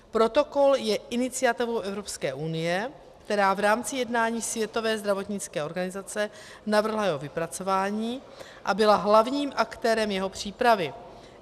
Protokol je iniciativou Evropské unie, která v rámci jednání Světové zdravotnické organizace navrhla jeho vypracování a byla hlavním aktérem jeho přípravy.